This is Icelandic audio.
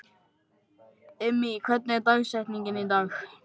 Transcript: Immý, hver er dagsetningin í dag?